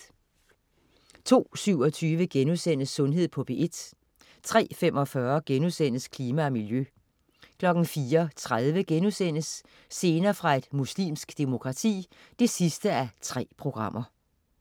02.27 Sundhed på P1* 03.45 Klima og miljø* 04.30 Scener fra et muslimsk demokrati 3:3*